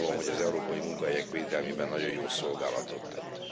Úgy gondolom, hogy az európai munkahelyek védelmében nagyon jó szolgálatot tett.